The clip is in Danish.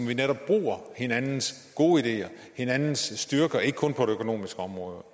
vi netop bruger hinandens gode ideer og hinandens styrker og ikke kun på det økonomiske område